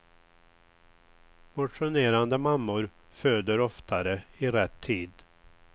Motionerande mammor föder oftare i rätt tid.